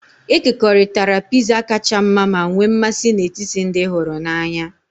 Ekekọrịtara Pizza kacha mma ma nwee mmasị n'etiti ndị ị hụrụ n'anya.